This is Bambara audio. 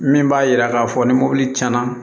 Min b'a yira k'a fɔ ni mobili tiɲɛna